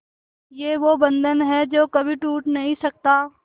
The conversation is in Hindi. ये वो बंधन है जो कभी टूट नही सकता